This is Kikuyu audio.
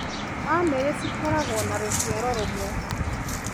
Bamĩrĩ ciakoragwo na rũciaro rũmwe